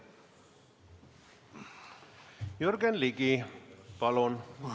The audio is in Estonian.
Jürgen Ligi, palun!